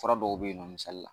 Fura dɔw bɛ ye nɔ misali la.